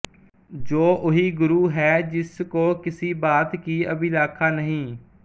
ਜੋ ਉਹੀ ਗੁਰੂ ਹੈ ਜਿਸ ਕਉ ਕਿਸੀ ਬਾਤ ਕੀ ਅਭਿਲਾਖਾ ਨਹੀਂ